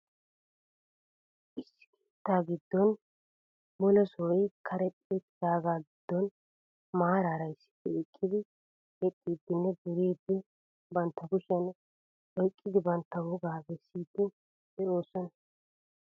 Issi keettaa giddon mule sohoy karexxi uttidaagaa giddon maaraara issippe eqqidi yexxiiddinne duriiddi bantta kushiyan oyqqidi bantta wogaa bessiiddi de'oosona.